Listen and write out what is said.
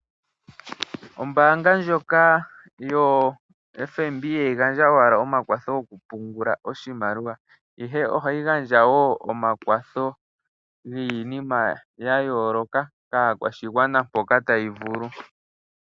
Ombanga ndjoka yoFNB ihayi gandja owala omakwatho okupungula oshimaliwa ihe ohayi gandja wo omakwatho giinima ga yooloka kaakwashigwana mpoka tayi vulu.